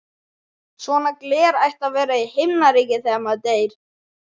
Svona gler ætti að vera í Himnaríki þegar maður deyr.